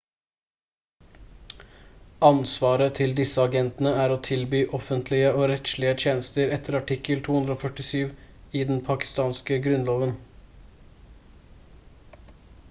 ansvaret til disse agentene er å tilby offentlige- og rettslige tjenester etter artikkel 247 i den pakistanske grunnloven